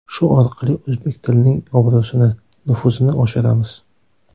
Shu orqali o‘zbek tilining obro‘sini, nufuzini oshiramiz.